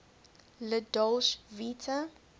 la dolce vita